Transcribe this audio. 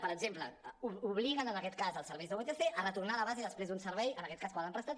per exemple obliguen en aquest cas els serveis de vtc a retornar a la base després d’un servei en aquest cas quan l’han prestat